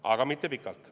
Aga mitte pikalt.